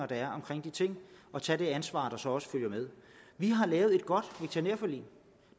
der er om de ting og tage det ansvar der så også følger med vi har lavet et godt veterinærforlig